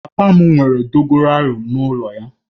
Papa m nwere dogoyaru n'ulo ya